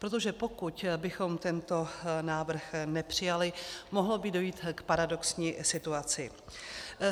Protože pokud bychom tento návrh nepřijali, mohlo by dojít k paradoxní situaci.